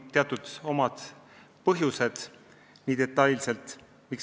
Sel on omad põhjused, miks seda ei tehta.